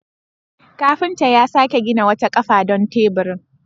Kafinta ya sake gina wata kafa don teburin.